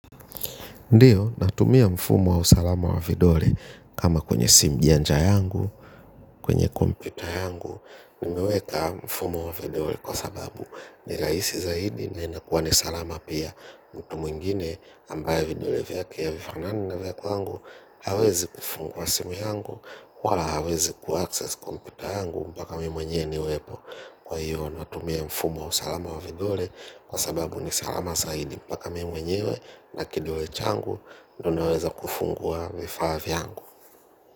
Ndiyo natumia mfumo wa usalama wa vidole kama kwenye sim janja yangu, kwenye kompyuta yangu, nimeweka mfumo wa vidole kwa sababu ni raisi zaidi na inakuwa ni salama pia mtu mwingine ambaye vidole vyake havifanani na vya kwangu, hawezi kufungwa simu yangu, wala hawezi kuaccess kompyuta yangu mpaka mi mwenyewe niwepo. Kwa hivo natumia mfumo wa usalama wa vidole. Kwa sababu ni salama zaidi. Mpaka mi mwenyewe na kidole changu ndo neweza kufungua vifaa vyangu.